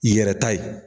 I yɛrɛ ta ye